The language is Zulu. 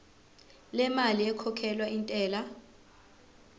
lemali ekhokhelwa intela